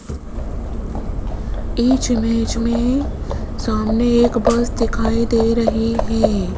इस इमेज में सामने एक बस दिखाई दे रही है।